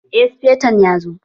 Eh sufeton ya zo